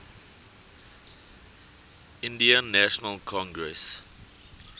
indian national congress